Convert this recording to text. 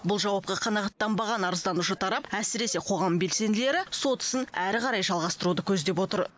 бұл жауапқа қанағаттанбаған арызданушы тарап әсіресе қоғам белсенділері сот ісін ары қарай жалғастыруды көздеп отыр